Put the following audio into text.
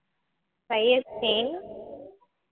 Syed